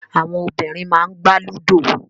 Àwọn obìnrin máà n gbà Ludo.